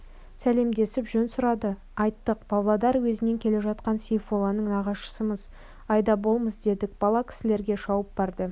сәлемдесіп жөн сұрады айттық павлодар уезінен келе жатқан сейфолланың нағашысымыз айдаболмыз дедік бала кісілерге шауып барды